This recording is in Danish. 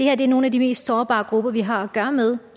er nogle af de mest sårbare grupper vi har at gøre med